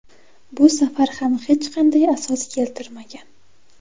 Bu safar ham hech qanday asos keltirmagan.